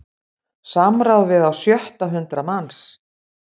Samráð við á sjötta hundrað manns